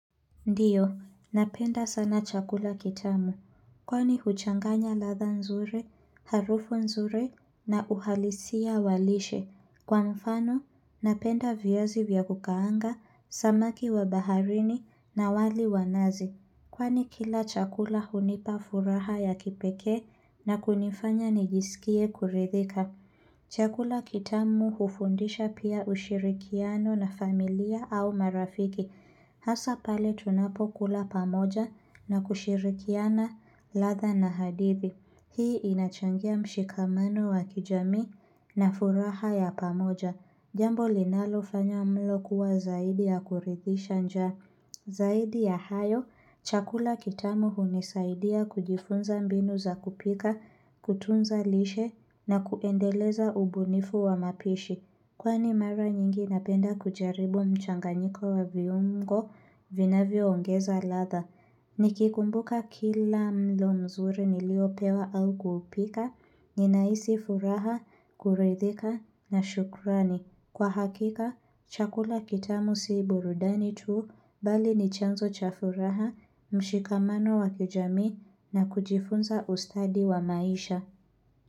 Ndiyo, napenda sana chakula kitamu. Kwani huchanganya latha nzuri, harufu nzuri na uhalisia walishe. Kwa mfano, napenda viazi vya kukaanga, samaki wa baharini na wali wanazi. Kwani kila chakula hunipa furaha ya kipekee na kunifanya nijisikie kuridhika. Chakula kitamu hufundisha pia ushirikiano na familia au marafiki. Hasa pale tunapokula pamoja na kushirikiana latha na hadithi. Hii inachangia mshikamano wa kijamii na furaha ya pamoja. Jambo linalo fanya mlo kuwa zaidi ya kuridhisha njaa. Zaidi ya hayo, chakula kitamu hunisaidia kujifunza mbinu za kupika, kutunza lishe na kuendeleza ubunifu wa mapishi. Kwani mara nyingi napenda kujaribu mchanganyiko wa viungo vinavyo ongeza latha. Nikikumbuka kila mlo mzuri niliopewa au kuupika, ninahisi furaha, kuridhika na shukrani. Kwa hakika, chakula kitamu si burudani tuu bali nichanzo chafuraha, mshikamano wakijamii na kujifunza ustadi wa maisha.